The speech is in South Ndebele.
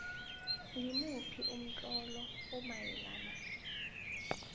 ngimuphi umtlolo omayelana